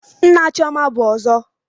Nna Chioma bụ ọzọ.